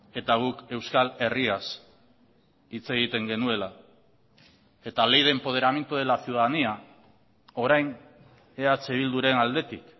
eta guk euskal herriaz hitz egiten genuela eta ley de empoderamiento de la ciudadanía orain eh bilduren aldetik